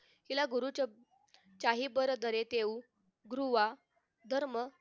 तिला गुरु चाहे बरेत येऊन गृवा धर्म